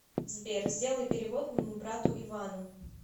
сбер сделай перевод моему брату ивану